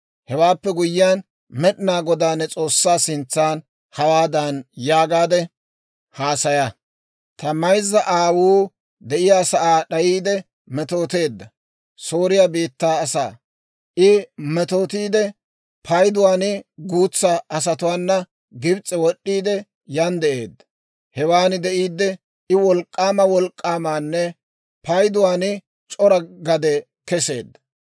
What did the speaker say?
Hewaappe guyyiyaan, Med'inaa Godaa ne S'oossaa sintsan hawaadan yaagaade haasaya; ‹Ta mayzza aawuu de'iyaasaa d'ayiide metooteedda Sooriyaa biittaa asaa; I metootiide, payduwaan guutsaa asatuwaana Gibs'e wod'd'iide yan de'eedda. Hewaan de'iidde I wolk'k'aama wolk'k'aamanne payduwaan c'ora gade keseedda.